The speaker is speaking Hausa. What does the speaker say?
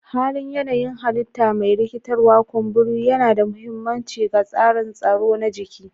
Halin yanayin halitta mai rikitarwa, kumburi yana da mahimmanci ga tsarin tsaro na jiki.